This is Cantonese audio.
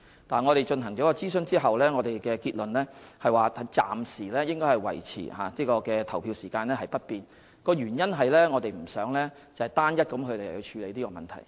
但是，在進行諮詢後，我們的結論是暫時應該維持投票時間不變，原因是我們不想單一地處理這個問題。